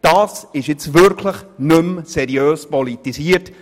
Das ist nun wirklich nicht mehr seriös politisiert!